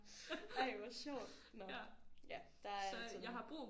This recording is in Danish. Ej hvor sjovt nåh ja der er altid nogen